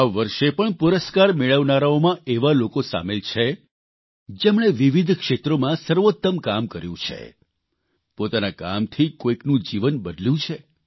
આ વર્ષે પણ પુરસ્કાર મેળવનારાઓમાં એવા લોકો સામેલ છે જેમણે વિવિધ ક્ષેત્રોમાં સર્વોત્તમ કામ કર્યું છે પોતાના કામથી કોઇકનું જીવન બદલ્યું છે